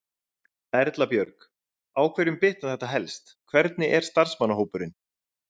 Erla Björg: Á hverjum bitnar þetta helst, hvernig er starfsmannahópurinn?